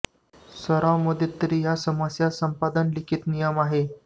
सराव मध्ये तरी या समस्या संपादन लिखित नियम आहे